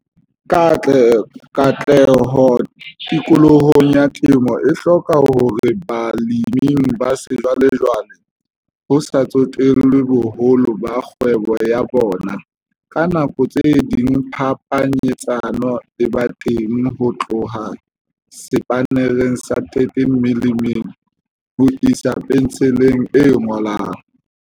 Katleho tikolohong ya temo e hloka hore baleming ba sejwalejwale, ho sa tsotellwe boholo ba kgwebo ya bona, ka nako tse ding phapanyetsano e be teng ho tloha sepannereng sa 13 mm ho isa pentsheleng e ngolang.